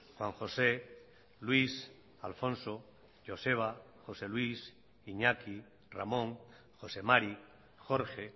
juan josé luis alfonso joseba josé luis iñaki ramón josé mari jorge